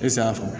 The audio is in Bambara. E safuna